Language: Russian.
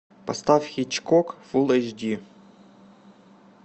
поставь хичкок фулл эйч ди